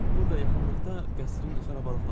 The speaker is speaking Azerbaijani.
Burda yaxınlıqda qəsrinin xarabalıqları var.